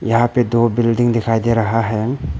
यहां पर दो बिल्डिंग दिखाई दे रहा है।